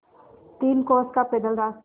तीन कोस का पैदल रास्ता